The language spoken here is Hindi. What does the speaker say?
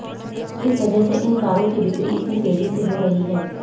इसी वजह से इन कारों की बिक्री इतनी तेजी से हो रही है